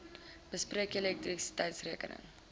bespreek julle elektrisiteitsrekenings